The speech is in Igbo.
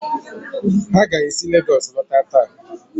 ha ga-esi Legọs lọta taa?